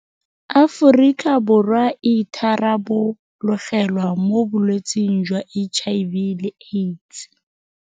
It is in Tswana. Aforika Borwa e itharabologelwa mo bolwetseng jwa HIV le AIDS..